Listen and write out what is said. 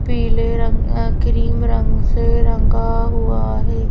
पीले रंग क्रीम रंग से रंगा हुआ है।